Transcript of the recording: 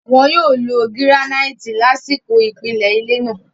Wọ́n yóò lo gíránáìtì lásìkò ìpìlẹ̀ ilé náà.